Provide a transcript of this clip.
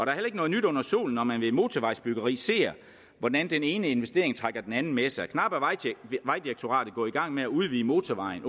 er heller ikke noget nyt under solen når man ved et motorvejsbyggeri ser hvordan den ene investering trækker den anden med sig knap var vejdirektoratet gået i gang med at udvide motorvejen